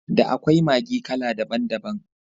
Da akwai Maggi kala daban daban.